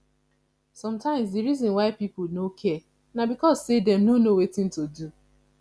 sometimes di reason why pipo no care na because sey dem no know wetin to do